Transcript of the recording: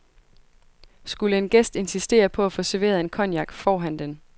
Skulle en gæst insistere på at få serveret en cognac, får han den.